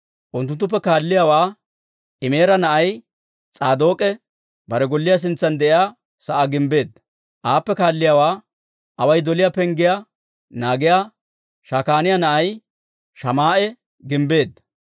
Unttunttuppe kaalliyaawaa Imeera na'ay S'aadook'e bare golliyaa sintsan de'iyaa sa'aa gimbbeedda. Aappe kaalliyaawaa Away doliyaa Penggiyaa naagiyaa Shakaaniyaa na'ay Shamaa'e gimbbeedda.